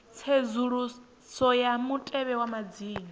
tsedzuluso ya mutevhe wa madzina